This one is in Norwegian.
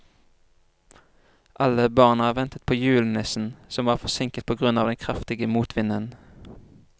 Alle barna ventet på julenissen, som var forsinket på grunn av den kraftige motvinden.